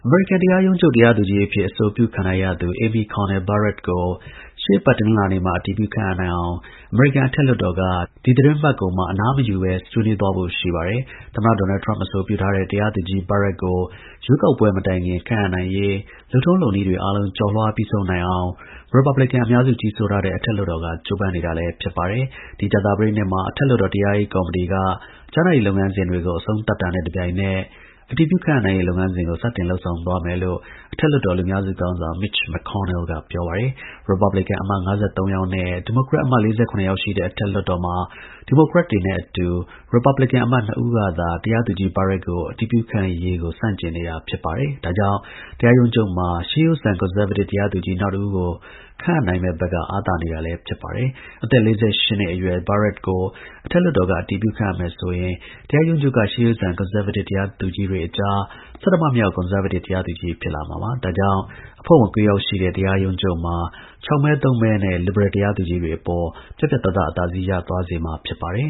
မေရိကန် တရားရုံးချုပ်တရားသူကြီးအဖြစ် အဆိုပြုခံထားရသူ Amy Coney Barrett ကို ရှေ့အပတ်တနင်္လာနေ့မှာ အတည်ပြု ခန့်အပ်နိုင်အောင် အမေရိကန် အထက်လွှတ်တော်က ဒီသီတင်းပတ်ကုန်မှာ အနားမယူဘဲ ဆွေးနွေးသွားဖို့ ရှိပါတယ်။ သမ္မတ ဒေါ်နယ်ထရမ့် အဆိုပြုထားတဲ့ တရားသူကြီး Barrett ကို ရွေးကောက်ပွဲ မတိုင်ခင် ခန့်အပ်နိုင်ရေး လုပ်ထုံး လုပ်နည်းတွေ အားလုံး ကျော်လွှား ပြီးဆုံးနိုင်အောင် ရစ်ပတ်ဘလင်ကန် အများစု ကြီးစိုးထားတဲ့ အထက်လွှတ်တော်က ကြိုးပမ်းနေတာလည်း ဖြစ်ပါတယ်။ ဒီ ကြာသပတေးနေ့မှာ အထက်လွှတ်တော် တရားရေး ကော်မတီက ကြားနာရေး လုပ်ငန်းစဉ်ကို အဆုံးသတ်တာနဲ့ တစ်ပြိုင်နက် အတည်ပြု ခန့်အပ်နိုင်ရေး လုပ်ငန်းစဉ်ကို စတင်သွားမယ်လို့ အထက်လွှတ်တော် လူများစု ခေါင်းဆောင် Mitch McConnell က ပြောပါတယ်။ ရစ်ပတ်ဘလင်ကန်အမတ် ၅၃ ယောက်နဲ့ ဒီမိုကရက် အမတ် ၄၇ ယောက်ရှိတဲ့ အထက်လွှတ်တော်မှာ ဒီမိုကရက်တွေနဲ့အတူ ရစ်ပတ် ဘလင်ကန်အမတ် ၂ ဦးကသာ တရားသူကြီး Barrett ကို အတည်ပြု ခန့်အပ်ရေးကို ဆန့်ကျင်တာကြောင့် တရားရုံးချုပ်မှာ ရှေးရိုးဆန် ကွန်ဆားဗေးတစ် တရားသူကြီး နောက်တစ်ဦးကို ခန့်အပ်နိုင်မယ့်ဘက်က အားသာနေတာ ဖြစ်ပါတယ်။ အသက် ၄၈ နှစ်အရွယ်Barrett ကို အထက်လွှတ်တော်က အတည်ပြု ခန့်အပ်မယ်ဆိုရင် တရားရုံးချုပ်ကရှေးရိုးဆန် ကွန်ဆား ဗေးတစ် တရားသူကြီးတွေအကြား ဆဌမမြောက် ကွန်ဆားဗေးတစ် တရားသူကြီး ဖြစ်လာမှာပါ။ ဒါကြောင့် အဖွဲ့ဝင် ၉ ယောက်ရှိတဲ့ တရားရုံး ချုပ်မှာ ၆ မဲ ၃ မဲနဲ့ လစ်ဘရယ် တရားသူကြီးတွေ အပေါ် ပြတ်ပြတ်သားသား အသာစီး ရသွားစေမှာ ဖြစ်ပါတယ်